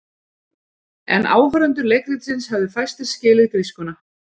En áhorfendur leikritsins hefðu fæstir skilið grískuna.